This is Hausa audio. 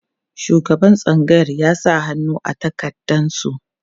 shugaban tsangayar ya sa hannu a takardan su